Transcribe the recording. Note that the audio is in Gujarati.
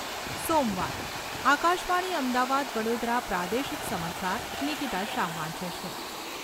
સોમવાર. આકાશવાણી અમદાવાદ વડોદરા પ્રાદેશિક. સમાચાર નિકીતા શાહ વાંચે છે.